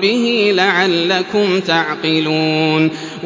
بِهِ لَعَلَّكُمْ تَعْقِلُونَ